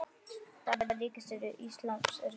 Dagar Ríkis íslams eru taldir.